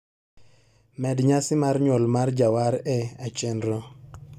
Med nyasi mar nyuol mar Jawar e achenro